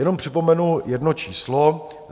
Jenom připomenu jedno číslo.